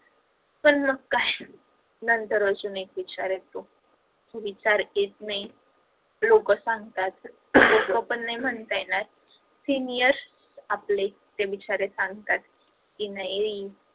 पण मग काय नंतर अजून एक विचार येतो, विचार येत नाही लोक सांगतात लोक पण नाही म्हणत येणार seniors आपले जे बिचारे सांगतात की मयूरी